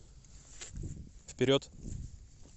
вперед